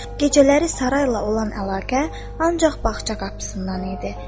Gecələri saray ilə olan əlaqə ancaq bağça qapısından idi.